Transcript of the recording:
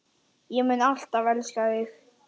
Ég mun alltaf elska þig.